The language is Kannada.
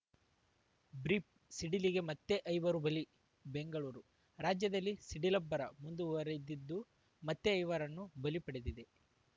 ಬ್ರೀಫ್‌ ಸಿಡಿಲಿಗೆ ಮತ್ತೆ ಐವರು ಬಲಿ ಬೆಂಗಳೂರು ರಾಜ್ಯದಲ್ಲಿ ಸಿಡಿಲಬ್ಬರ ಮುಂದುವರಿದಿದ್ದು ಮತ್ತೆ ಇವರನ್ನು ಬಲಿ ಪಡೆದಿದೆ